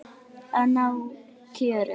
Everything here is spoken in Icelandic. Að ná kjöri.